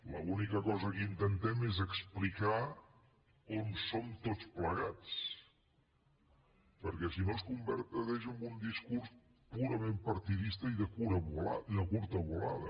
l’única cosa que intentem és explicar on som tots plegats perquè si no es converteix en un discurs purament partidista i de curta volada